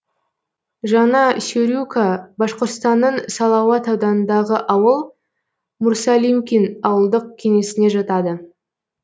жаңа сюрюка башқұртстанның салауат ауданындағы ауыл мурсалимкин ауылдық кеңесіне жатады